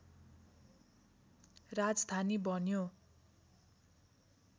राजधानी बन्यो